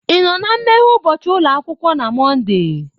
Ị nọ na nmeghe ụbọchị ụlọ akwụkwọ na Mọnde?